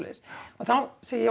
þá segi ég